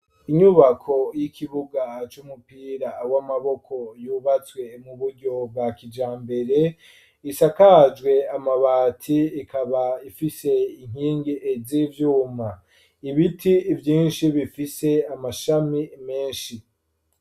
Inyubako y'ikibuga c'umupira w'amaboko yubatswe mu buryo bwa kija mbere, isakajwe amabati ikaba ifise inkingi zi vyuma ibiti vyinshi bifise amashami menshi.